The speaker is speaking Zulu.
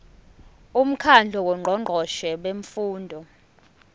umkhandlu wongqongqoshe bemfundo